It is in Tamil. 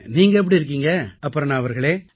நீங்கள் எப்படி இருக்கிறீர்கள் அபர்ணா அவர்களே